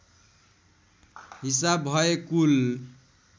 हिसाब भए कुल